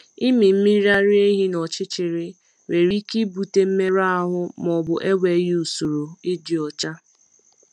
Ịmị mmiri ara ehi n’ọchịchịrị nwere ike ibute mmerụ ahụ ma ọ bụ enweghị usoro ịdị ọcha.